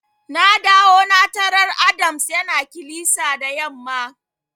Na dawo na tarar Adams yana kilisa da yamma.